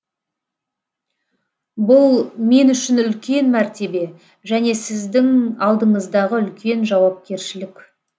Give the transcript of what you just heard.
бұл мен үшін үлкен мәртебе және сіздің алдыңыздағы үлкен жауапкершілік